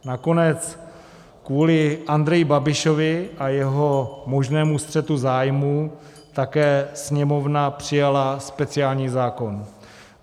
Nakonec kvůli Andreji Babišovi a jeho možnému střetu zájmů také Sněmovna přijala speciální zákon.